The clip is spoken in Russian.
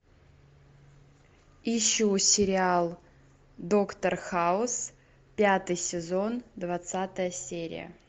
ищу сериал доктор хаус пятый сезон двадцатая серия